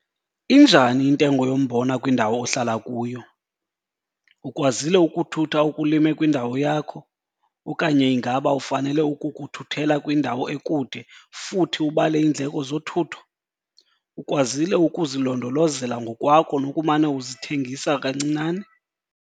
Injani intengo yombona kwindawo ohlala kuyo? Ukwazile ukuthutha okulime kwindawo yakho, okanye ingaba ufanele ukukuthuthela kwindawo ekude futhi ubale iindleko zothutho? Ukwazile ukuzilondolozela ngokwakho nokumane uzithengisa kancinane?